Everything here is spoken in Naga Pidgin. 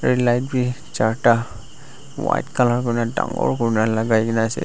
light vi charta white colour kurina dangor kurina lagai na ase.